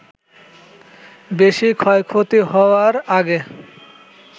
বেশি ক্ষয়ক্ষতি হওয়ার আগে